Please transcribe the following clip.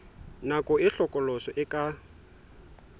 nako e hlokolosi e ka